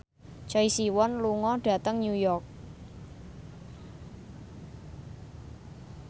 Choi Siwon lunga dhateng New York